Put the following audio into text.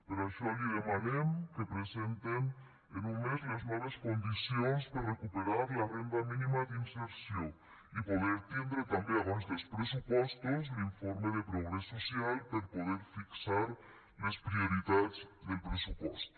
per això li demanem que presenten en un mes les noves condicions per recuperar la renda mínima d’inserció i poder tindre també abans dels pressupostos l’informe de progrés social per poder fixar les prioritats del pressupost